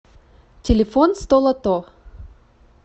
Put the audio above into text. телефон столото